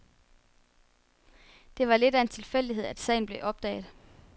Det var lidt af en tilfældighed, at sagen blev opdaget.